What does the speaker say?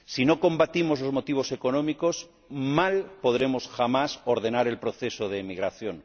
Si no combatimos los motivos económicos, mal podremos jamás ordenar el proceso de emigración.